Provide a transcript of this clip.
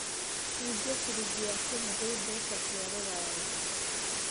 cejia ciringi ya Kenya gwĩ mbeca cia rũraya